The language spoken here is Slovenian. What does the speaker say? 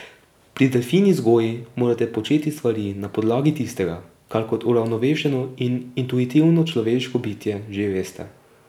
Pri delfinji vzgoji morate početi stvari na podlagi tistega, kar kot uravnovešeno in intuitivno človeško bitje že veste.